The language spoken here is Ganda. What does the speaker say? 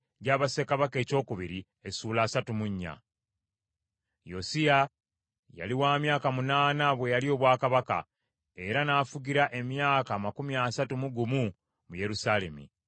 Yosiya yali wa myaka munaana bwe yalya obwakabaka, era n’afugira emyaka amakumi asatu mu gumu mu Yerusaalemi.